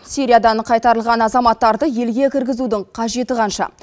сириядан қайтарылған азаматтарды елге кіргізудің қажеті қанша